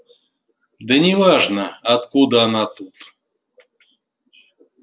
да неважно откуда она тут